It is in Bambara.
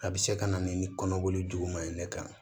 A bɛ se ka na ni kɔnɔboli juguman ye ne kan